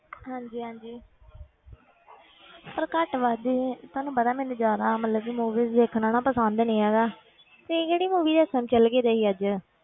ਹਾਂਜੀ ਹਾਂਜੀ ਪਰ ਘੱਟ ਵੱਧ ਹੀ ਤੁਹਾਨੂੰ ਪਤਾ ਮੈਨੂੰ ਜਾਣਾ ਮਤਲਬ ਕਿ movies ਦੇਖਣਾ ਨਾ ਪਸੰਦ ਨੀ ਹੈਗਾ ਤੁਸੀਂ ਕਿਹੜੀ movie ਦੇਖਣ ਚਲੇ ਗਏ ਸੀ ਅੱਜ?